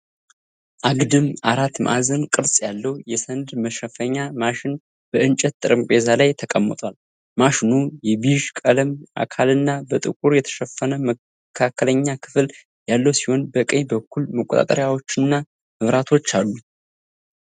አግድም፣ አራት ማዕዘን ቅርጽ ያለው የሰነድ መሸፈኛ ማሽን በእንጨት ጠረጴዛ ላይ ተቀምጧል። ማሽኑ የቢዥ ቀለም አካልና በጥቁር የተሸፈነ መካከለኛ ክፍል ያለው ሲሆን፣ በቀኝ በኩል መቆጣጠሪያዎችና መብራቶች አሉት።